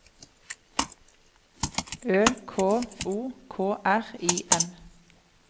Ø K O K R I M